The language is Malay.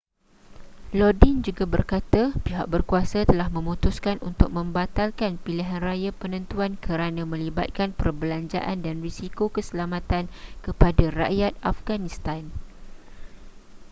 lodin juga berkata pihak berkuasa telah memutuskan untuk membatalkan pilihanraya penentuan kerana melibatkan perbelanjaan dan risiko keselamatan kepada rakyat afghanistan